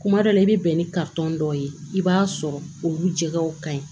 Kuma dɔ la i bɛ bɛn ni dɔ ye i b'a sɔrɔ olu jɛgɛw ka ɲi